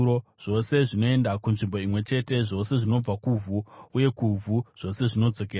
Zvose zvinoenda kunzvimbo imwe chete; zvose zvinobva kuvhu, uye kuvhu zvose zvinodzokera.